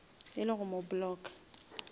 e le go mo blocka